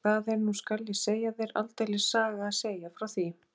Og það er nú skal ég segja þér aldeilis saga að segja frá því.